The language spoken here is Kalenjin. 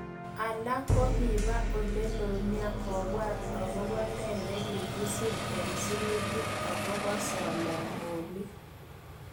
Alak kokiba elelo nia kobwat akobo ne nekikisir eng sirutik akobo solomonik.